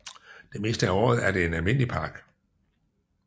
Det meste af året er den en almindelig park